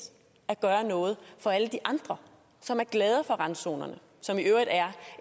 at gøre noget for alle de andre som er glade for randzonerne som i øvrigt er